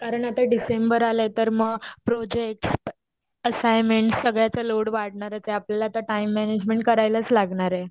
कारण आता डिसेंबर आला आहे तर प्रोजेक्ट असाइनमेंटस सगळ्याचा लोड वाढणारचे आपल्याला आता टाइम मॅनेजमेंट करायलाच लागणारे.